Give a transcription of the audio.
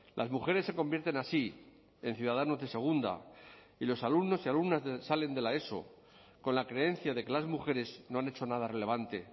las mujeres se convierten así en ciudadanos de segunda y los alumnos y alumnas salen de la eso con la creencia de que las mujeres no han hecho nada relevante